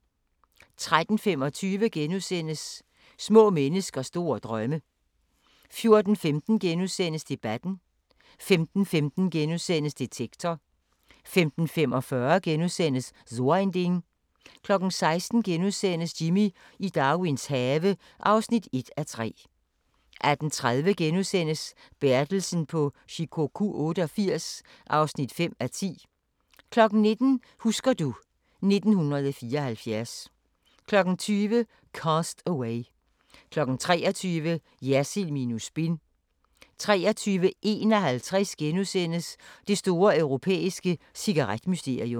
13:25: Små mennesker store drømme * 14:15: Debatten * 15:15: Detektor * 15:45: So ein Ding * 16:00: Jimmy i Darwins have (1:3)* 18:30: Bertelsen på Shikoku 88 (5:10)* 19:00: Husker du ... 1974 20:00: Cast Away 23:00: Jersild minus spin 23:51: Det store europæiske cigaret-mysterium *